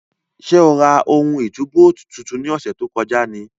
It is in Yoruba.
Sé o ra ohun ìtúbóòtì tuntun ní ọ̀sẹ̀ tó kọjá ni?